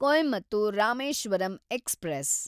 Coimbatore Rameswaram express